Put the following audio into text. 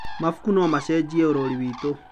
Mabuku no macenjie ũrori witũ.